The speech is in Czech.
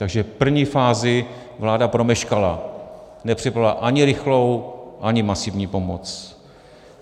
Takže první fázi vláda promeškala, nepřipravila ani rychlou, ani masivní pomoc.